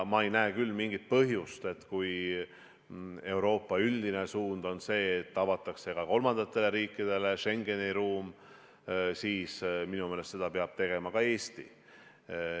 Kui Euroopa üldine suund on see, et avatakse ka kolmandatele riikidele Schengeni ruum, siis minu meelest peab seda tegema ka Eesti.